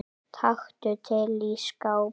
Taktu til í skáp.